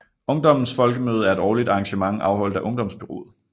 Ungdommens Folkemøde er et årligt arrangement afholdt af Ungdomsbureauet